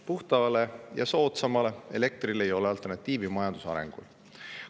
Puhtale ja soodsamale elektrile ei ole majanduse arengu seisukohast alternatiivi.